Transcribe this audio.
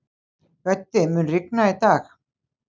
Böddi, mun rigna í dag?